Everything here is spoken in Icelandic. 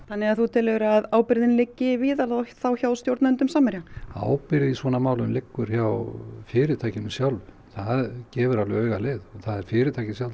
þannig að þú telur að ábyrgðin liggi víðar og þá hjá stjórnendum Samherja ábyrgð í svona máli liggur hjá fyrirtækinu sjálfu það gefur alveg auga leið og fyrirtækið sjálft